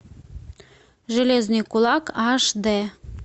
железный кулак аш д